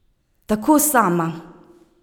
Tako sama!